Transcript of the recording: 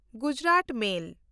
Gujarat ᱢᱮᱞ